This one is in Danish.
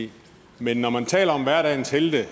i men når man taler om hverdagens helte